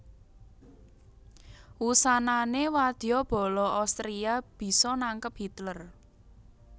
Wusanané wadya bala Austria bisa nangkep Hitler